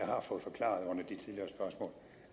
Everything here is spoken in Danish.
har fået forklaret